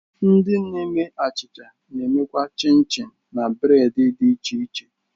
Ndi na-eme achicha na-emekwa chin-chin na bureedi dị iche iche